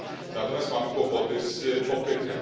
natomiast mamy kłopoty z popytem.